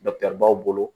baw bolo